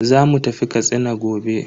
Zamu tafi Katsina gobe.